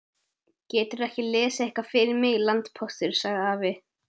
Geturðu ekki lesið eitthvað fyrir mig, landpóstur, sagði afi.